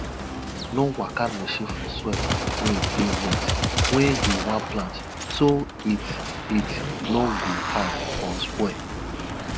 no waka machine for soil wey dey wet when you wan plant so it it no go hard or spoil